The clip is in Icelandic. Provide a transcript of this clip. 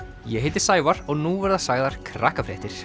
ég heiti Sævar og nú verða sagðar